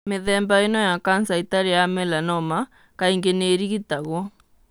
Mĩthemba ĩno ya kanca ĩtarĩ ya melanoma kaingĩ nĩ ĩrigitagũo.